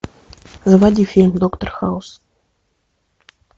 заводи фильм доктор хаус